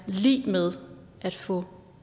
lig med at få